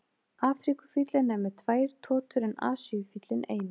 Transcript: Afríkufíllinn er með tvær totur en Asíufíllinn eina.